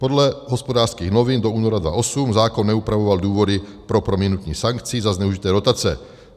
Podle Hospodářských novin do února 2008 zákon neupravoval důvody pro prominutí sankcí za zneužité dotace.